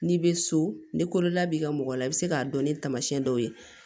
N'i bɛ so ni kololabila mɔgɔ la i bɛ se k'a dɔn ni tamasiyɛn dɔw ye